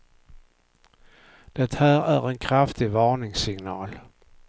Det här är en kraftig varningssignal.